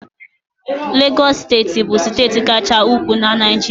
Legọs steeti bụ steeti Kachasị ukwuu na Naịjirịa.